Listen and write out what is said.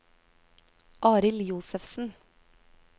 Arild Josefsen